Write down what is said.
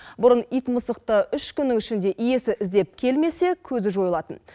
бұрын ит мысықты үш күннің ішінде иесі іздеп келмесе көзі жойылатын